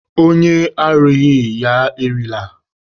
Onye arụghị, ya erila.